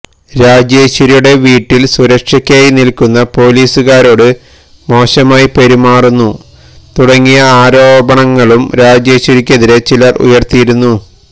രാജേശ്വരിയുടെ വീട്ടില് സുരക്ഷയ്ക്കായി നില്ക്കുന്ന പൊലീസുകാരോട് മോശമായി പെരുമാറുന്നു തുടങ്ങിയ ആരോപണങ്ങളും രാജേശ്വരിയ്ക്കെതിരെ ചിലര് ഉയര്ത്തിയിരുന്നു